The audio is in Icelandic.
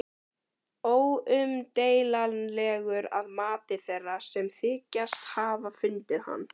Óumdeilanlegur að mati þeirra, sem þykjast hafa fundið hann.